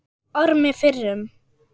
Ormi fyrrum.